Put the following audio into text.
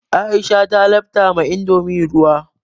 Aisha ta lafta ma indomin ruwa.